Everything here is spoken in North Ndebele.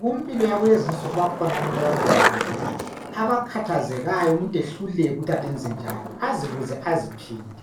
Kumpilo yakulezi nsuku bakhona abantu abadubekileyo abakhathazekayo umuntu ehluleke ukuthi kanti enze njani azibuze aziphinde